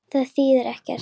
Þýðir ekkert.